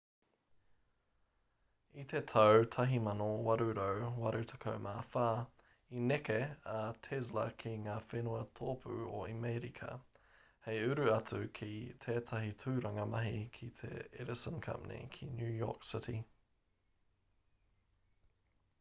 i te tau 1884 i neke a tesla ki ngā whenua tōpū o amerika hei uru atu ki tētahi tūranga mahi ki te edison company ki new york city